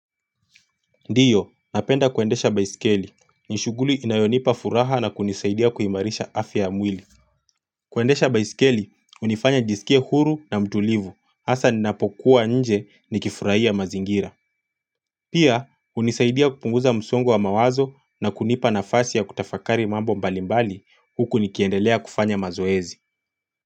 Ndio, napenda kuendesha baisikeli. Nishughuli inayonipa furaha na kunisaidia kuimarisha afya ya amwili. Kuendesha baisikeli, hunifanya njisikie huru na mtulivu. Hasa ninapokuwa nje nikifurahia mazingira. Pia, hunisaidia kupunguza msongo wa mawazo na kunipa nafasi ya kutafakari mambo mbalimbali huku nikiendelea kufanya mazoezi.